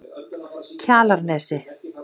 Kjalarnesi